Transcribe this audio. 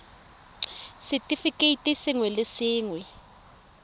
r setefikeiti sengwe le sengwe